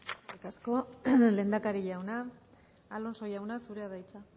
eskerrik asko lehendakari jauna alonso jauna zurea da hitza